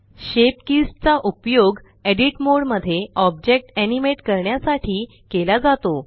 shape keys चा उपयोग edit mode मध्ये ऑब्जेक्ट एनिमेट करण्यासाठी केला जातो